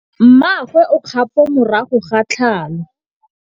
Mmagwe o kgapô morago ga tlhalô.